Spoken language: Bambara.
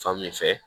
Fan min fɛ